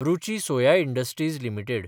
Ruchi soya industries limited